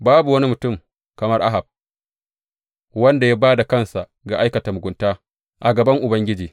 Babu wani mutum kamar Ahab, wanda ya ba da kansa ga aikata mugunta a gaban Ubangiji.